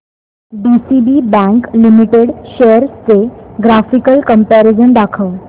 DCB bank limited shares चे graphical comparison दाखव